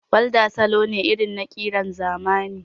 Walda salo ne irin na ƙiran zamani